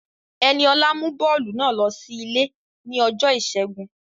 Ẹniọlá mú bọ́ọ̀lù náà ló sí ilé ní ọjọ́ ìṣẹ́gun